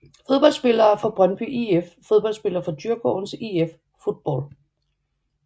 Fodboldspillere fra Brøndby IF Fodboldspillere fra Djurgårdens IF Fotboll